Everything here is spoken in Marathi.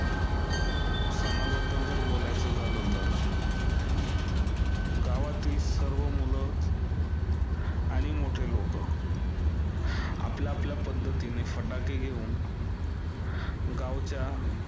सणाबद्दल जर बोलायचं झालं तर, गावातील सर्व मुलं आणि मोठे लोकं आपल्या आपल्या पद्धतीने फटाके घेऊन गावाच्या